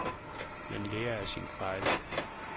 Man lærer af sine fejl.